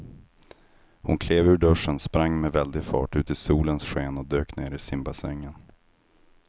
Hon klev ur duschen, sprang med väldig fart ut i solens sken och dök ner i simbassängen.